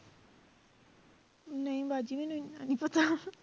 ਨਹੀਂ ਬਾਜੀ ਮੈਨੂੰ ਇੰਨਾ ਨੀ ਪਤਾ